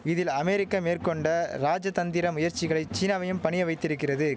இதில் அமெரிக்க மேற்கொண்ட ராஜதந்திர முயற்சிகளை சீனாவையும் பணிய வைத்திரிக்கிறது